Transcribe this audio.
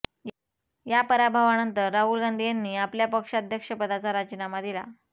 या पराभवानंतर राहुल गांधी यांनी आपल्या पक्षाध्यक्ष पदाचा राजीनामा दिला